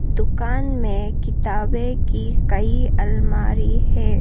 दुकान में किताबें की कई अलमारी है।